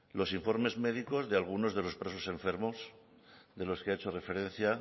los informes médicos de algunos de los presos enfermos de los que ha hecho referencia